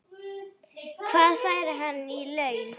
Hvað fær hann í laun?